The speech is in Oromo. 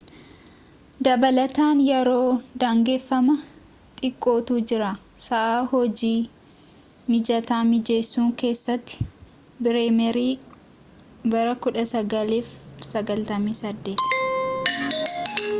dabalataan yeroo daangeffamaa xiqqootu jira sa’aa hojii mijata mijeessuu keessatti. bireemerii 1998